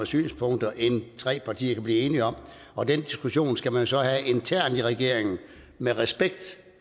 synspunkter end tre partier kan blive enige om og den diskussion skal man jo så have internt i regeringen med respekt